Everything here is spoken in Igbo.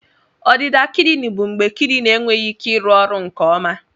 Ọdịda kidini bụ mgbe kidini enweghị ike ịrụ ọrụ nke ọma